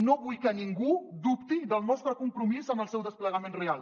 no vull que ningú dubti del nostre compromís amb el seu desplegament real